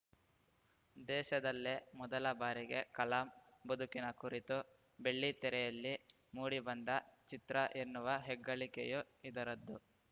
ದೇಶದಲ್ಲೇ ಮೊದಲ ಬಾರಿಗೆ ಕಲಾಂ ಬದುಕಿನ ಕುರಿತು ಬೆಳ್ಳಿತೆರೆಯಲ್ಲಿ ಮೂಡಿ ಬಂದ ಚಿತ್ರ ಎನ್ನುವ ಹೆಗ್ಗಳಿಕೆಯೂ ಇದರದ್ದು